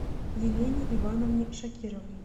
елене ивановне шакировой